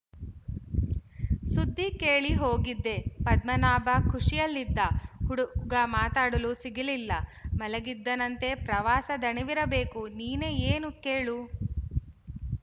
ಸುದ್ದಿ ಕೇಳಿ ಹೋಗಿದ್ದೆ ಪದ್ಮನಾಭ ಖುಶಿಯಲ್ಲಿದ್ದ ಹುಡುಗ ಮಾತಾಡಲು ಸಿಗಲಿಲ್ಲ ಮಲಗಿದ್ದನಂತೆ ಪ್ರವಾಸ ದಣಿವಿರಬೇಕುನೀನು ಏನೇ ಕೇಳು